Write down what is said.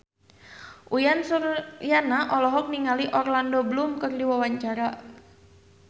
Uyan Suryana olohok ningali Orlando Bloom keur diwawancara